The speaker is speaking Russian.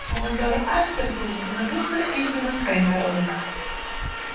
командор аспер был единодушно избранным своим народом